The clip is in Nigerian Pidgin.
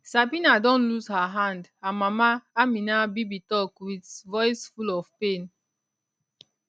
sabina don lose her hand her mama ameena bibi tok wit voice full of pain